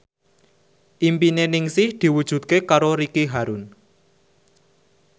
impine Ningsih diwujudke karo Ricky Harun